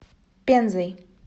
пензой